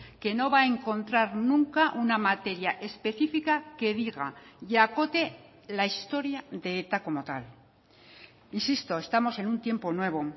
que no va a encontrar nunca una materia específica que diga y acote la historia de eta como tal insisto estamos en un tiempo nuevo